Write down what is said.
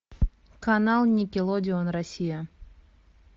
канал никелодеон россия